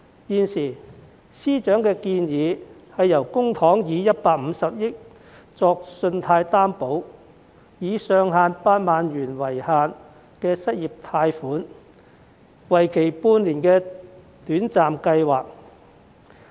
現時司長的建議，是以公帑150億元作信貸擔保，提供上限8萬元、為期半年的短暫失業貸款計劃。